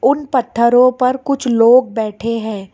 उन पत्थरों पर कुछ लोग बैठे हैं।